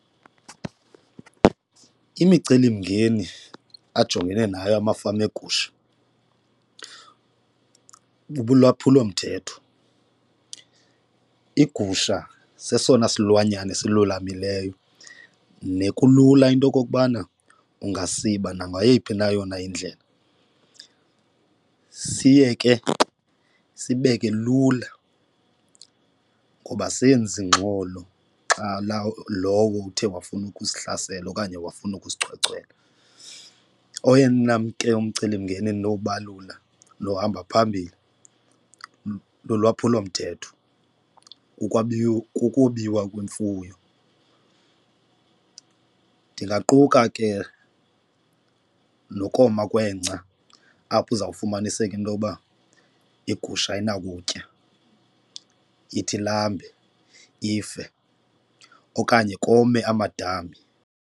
Imicelimngeni ajongene nayo amafama eegusha bubulwaphulomthetho, iigusha sesona silwanyana esilulamileyo nekulula into yokokubana ungasibiza nangayiphi na yona indlela. Siye ke sibeke lula ngoba asenzi ingxolo xa lowo uthe wafuna ukusihlasela okanye wafuna ukusichwechwela, oyena ke mcelimngeni endinowubalula luhamba phambili lulwaphulomthetho, ukwabiwo kukubiwa kwemfuyo. Ndingaquka ke nokoma kwengca apho uzawufumaniseka into yoba iigusha ayinakutya ide ilambe ife okanye kome amadami.